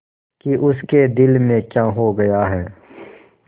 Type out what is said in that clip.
कि उसके दिल में क्या हो गया है